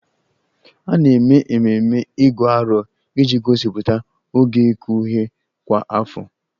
A na-eme ememe Igu Aro iji gosipụta oge ịkụ ihe kwa afọ